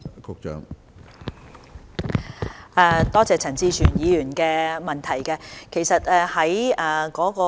多謝陳志全議員的補充質詢。